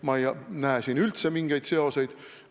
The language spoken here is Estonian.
Ma ei näe siin üldse mingeid seoseid.